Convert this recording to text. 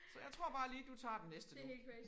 Så jeg tror bare lige du tager den næste nu